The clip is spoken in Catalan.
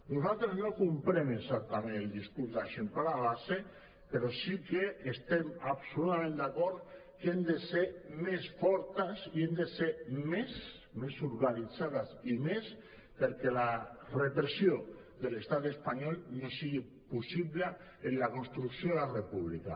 nosaltres no comprem exactament el discurs d’eixamplar la base però sí que estem absolutament d’acord que hem de ser més fortes i hem de ser més més organitzades i més perquè la repressió de l’estat espanyol no sigui possible en la construcció de la república